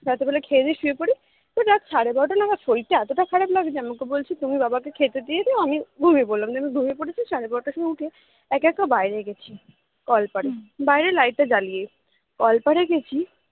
রাত্রে বেলা খেয়ে দিয়ে শুয়ে পড়ি এবার রাত সাড়ে বারোটা নাগাদ শরীরটা এতটা খারাপ লাগছে যে আমি ওকে বলছি তুমি বাবা কে খেতে দিয়ে দিও আমি ঘুমিয়ে পড়লাম ঘুমিয়ে পড়েছি সাড়ে বারোটার সময় উঠে একা একা বাইরে গেছি কলপাড়ে বাইরে light টা জ্বালিয়ে কলপাড়ে গেছি